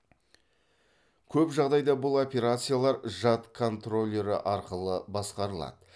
көп жағдайда бұл операциялар жад контроллері арқылы басқарылады